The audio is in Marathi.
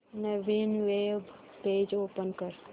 नवीन वेब पेज ओपन कर